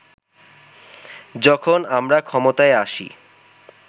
যখন আমরা ক্ষমতায় আসি